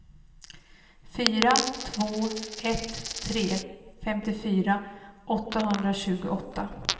fyra två ett tre femtiofyra åttahundratjugoåtta